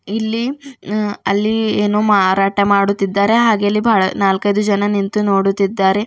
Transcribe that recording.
ಇಲ್ಲಿ ಅ ಅಲ್ಲಿ ಏನೋ ಮಾರಾಟ ಮಾಡುತ್ತಿದ್ದಾರೆ ಹಾಗೆ ಇಲ್ಲಿ ಬಹಳ ನಾಲ್ಕೈದು ಜನ ನಿಂತು ನೋಡುತ್ತಿದ್ದಾರೆ.